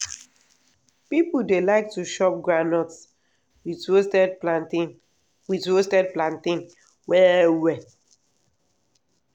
people dey like to chop groundnut with roasted plantain with roasted plantain well well.